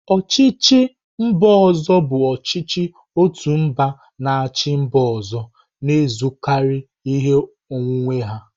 Ochichi mba ozo bụ ọchịchị otu mba na-achị mba ọzọ, na-ezukarị ihe onwunwe ha.